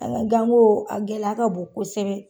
An ka ganko a gɛlɛya ka bon kosɛbɛ.